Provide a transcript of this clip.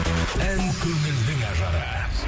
ән көңілдің ажары